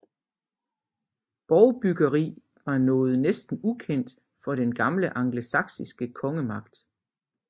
Borgbyggeri var noget næsten ukendt for den gamle angelsaksiske kongemagt